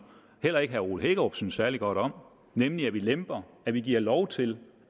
heller ikke herre ole hækkerup synes særlig godt om nemlig at vi lemper at vi giver lov til